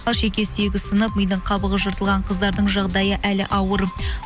ал шеке сүйегі сынып мидың қабығы жыртылған қыздардың жағдайы әлі ауыр